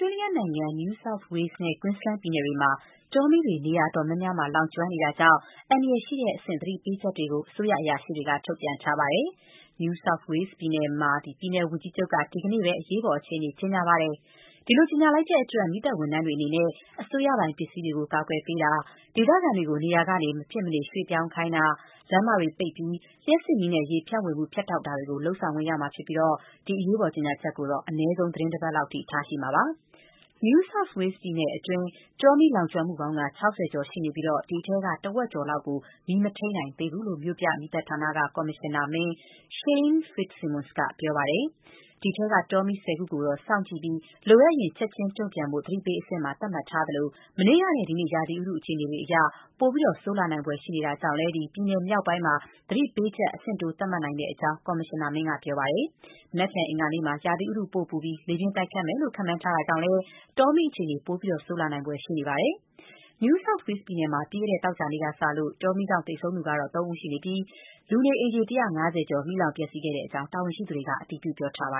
ြေးလျနိုင်ငံ New South Wales နဲ့ Queensland ပြည်နယ်တွေမှာ တောမီးတွေ နေရာအတော်များများမှာ လောင်ကျွမ်းနေတာကြောင့် အန္တရာယ်ရှိတဲ့အဆင့် သတိပေးချက်တွေကို အစိုးရအရာရှိတွေက ထုတ်ပြန်ထားပါတယ်။ New South Wales ပြည်နယ်မှာ ပြည်နယ် ဝန်ကြီးချုပ် Gladys Berejiklian က ဒီကနေ့ပဲ အရေးပေါ်အခြေအနေ ကြေညာပါတယ်။ ဒီလိုကြေညာလိုက်တဲ့အတွက် မီးသတ်ဝန်ထမ်းတွေ အနေနဲ့ အစိုးရပိုင်ပစ္စည်းတွေ ထိခိုက်ပျက်စီးမှုမရှိအောင် ကာကွယ်ပေးနိုင်ဖို့ ဒေသခံတွေကို နေရာကနေ မဖြစ်မနေ ရွှေ့ပြောင်းခိုင်းတာ လမ်းမတွေကို ပိတ်ပြီး လျှပ်စစ်မီးနဲ့ ရေ ဖြန့်ဝေမှု ဖြတ်တောက်ပစ်တာတွေ လုပ်ဆောင်ခွင့် ရမှာဖြစ်ပြီး ဒီအရေးပေါ်ကြေညာချက်ကို အနည်းဆုံး သီတင်းတပတ်လောက် ထားရှိမှာဖြစ်ပါတယ်။ New South Wales ပြည်နယ်တွင်း တောမီး လောင်ကျွမ်းမှုပေါင်း ၆၀ ကျော် ရှိနေပြီး ဒီအထဲက တဝက်ကျော်လောက်ကို မီး မထိန်းနိုင်သေးဘူးလို့ မြို့ပြ မီးသတ်ဌာနက ကော်မရှင်နာမင်း Shane Fitzsimmons က ပြောပါတယ်။ ဒီအထဲက တောမီး ၁၀ ခုကိုတော့ စောင့်ကြည့်ပြီး လိုအပ်ရင် ချက်ချင်းတုံ့ပြန်ဖို့ သတိပေးအဆင့် သတ်မှတ်ထားသလို၊ မနေ့ကနဲ့ ဒီနေ့ ရာသီဥတုအခြေအနေအရ ပိုပြီး ဆိုးလာနိုင်ဖွယ်ရှိနေတာကြောင့် ပြည်နယ်မြောက်ပိုင်းမှာ သတိပေးချက် အဆင့်တိုး သတ်မှတ်နိုင်ကြောင်းလည်း ကော်မရှင်နာမင်း Fitzsimmons က ပြောပါတယ်။ မနက်ဖြန် အင်္ဂါနေ့မှာ ရာသီဥတု ပို ပူပြီး လေပြင်းတိုက်ခတ်မယ်လို့ ခန့်မှန်းထားတာကြောင့် တောမီးအခြေအနေ ပိုဆိုးလာနိုင်ဖွယ် ရှိပါတယ်။ New South Wales ပြည်နယ်မှာ ပြီးခဲ့တဲ့ သောကြာနေ့ကစလို့ တောမီးကြောင့် သေဆုံးသူ သုံးဦးရှိပြီး လူနေအိမ်ခြေ ၁၅၀ ကျော် မီးလောင် ပျက်စီးခဲ့ကြောင်း တာဝန်ရှိသူတွေက အတည်ပြုထားပါ